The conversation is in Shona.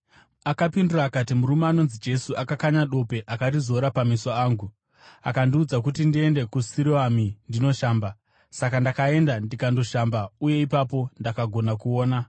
Akapindura akati, “Murume anonzi Jesu akakanya dope akarizora pameso angu. Akandiudza kuti ndiende kuSiroami ndinoshamba. Saka ndakaenda ndikandoshamba, uye ipapo ndakagona kuona.”